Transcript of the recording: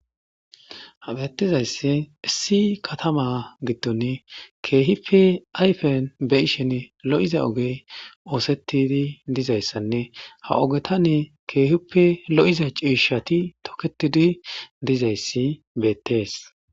Hadeettizayssi issi katama giddon keehippe ayfen beyishen lo'iza oge oosettidi dizayssanne ha ogetan keehippe lo'iza ciishati toketidi dizayssi beettees.